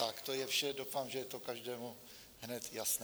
Tak to je vše, doufám, že to je každému hned jasné.